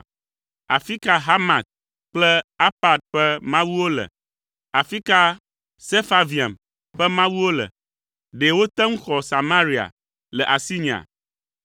Afi ka Hamat kple Arpad ƒe mawuwo le? Afi ka Sefarvaim ƒe mawuwo le? Ɖe wote ŋu xɔ Samaria le asinyea?